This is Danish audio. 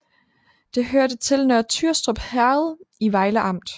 Det hørte til Nørre Tyrstrup Herred i Vejle Amt